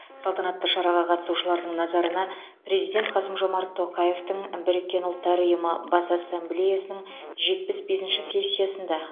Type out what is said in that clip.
салтанатты шараға қатысушылардың назарына президент қасым жомарт тоқаевтың біріккен ұлттар ұйымы бас ассамблеясының жетпіс бесінші сессиясында